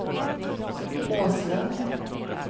Åslund